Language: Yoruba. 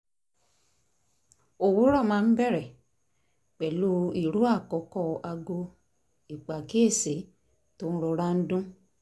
òwúrọ̀ máa ń bẹ̀rẹ̀ pẹ̀lú ìró àkọ́kọ́ aago ìpàkíyèsí tó ń rọra dún